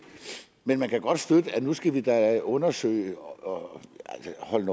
men man kan godt støtte at nu skal vi da undersøge og altså hold